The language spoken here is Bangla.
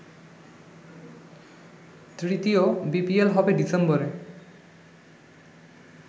তৃতীয় বিপিএল হবে ডিসেম্বরে।